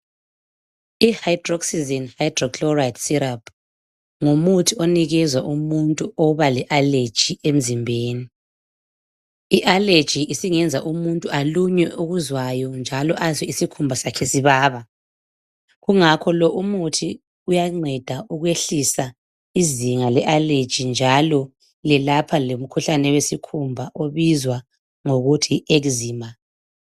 i Hydroxyzin hydrochloride syrup ngumuntu onikezwa umuntu oba le allergy emzimbeni i allergy isingayenza umuntu alunywe okuzwayo njalo azwe isikhumba sakhe sibaba kungakho lo umuthi uyanceda ukwehlisa izinga le allergy njalo lapha umkhuhlane wesikhumba ubizwa ngokuthi yi exima